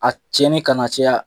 A tiɲɛnni kana caya.